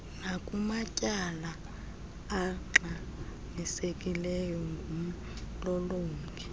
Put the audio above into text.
nakumatyala angxamisekileyo ngumlolongi